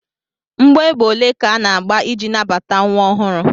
Mgbọ égbè ole ka ana-agba iji nabata nwa ọhụrụ?